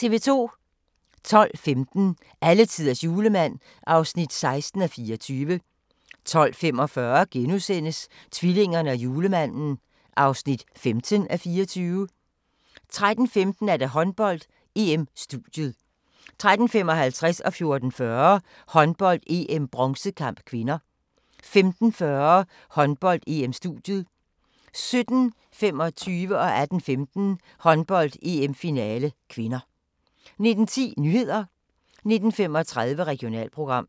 12:15: Alletiders julemand (16:24) 12:45: Tvillingerne og julemanden (15:24)* 13:15: Håndbold: EM-studiet 13:55: Håndbold: EM - bronzekamp (k) 14:40: Håndbold: EM - bronzekamp (k) 15:40: Håndbold: EM-studiet 17:25: Håndbold: EM - finale (k) 18:15: Håndbold: EM - finale (k) 19:10: Nyhederne 19:35: Regionalprogram